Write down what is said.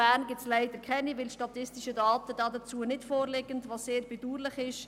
Bern gibt es leider keine, weil dazu keine statistischen Daten vorliegen, was sehr bedauerlich ist.